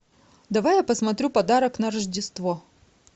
давай я посмотрю подарок на рождество